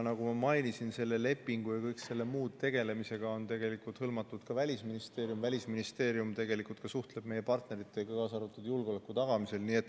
Nagu ma mainisin, selle lepingu ja kõige selle muuga tegelemisse on kaasatud ka Välisministeerium, kes suhtleb meie partneritega, kaasa arvatud julgeoleku tagamisel.